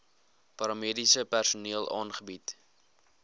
paramediese personeel aangebied